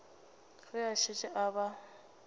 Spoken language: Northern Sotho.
ge a šetše a ba